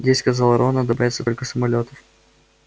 здесь сказал рон надо бояться только самолётов